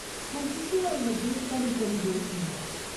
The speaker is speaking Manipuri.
ꯍꯧꯖꯤꯛꯀꯤ ꯑꯣꯏꯅꯗꯤ ꯀꯔꯤ ꯀꯔꯤ ꯔꯨꯜꯁꯤꯡꯅꯣ?